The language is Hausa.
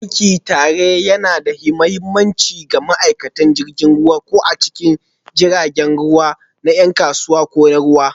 Yin aiki tare yana da mahimmanci ga ma'aikatan jirgin ruwa, ko a cikin jiragen ruwa na 'yan kasuwa ko na ruwa,